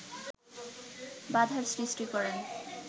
বাধার সৃষ্টি করেন